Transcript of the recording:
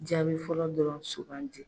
Jaabi fɔlɔ dɔrɔn sougandi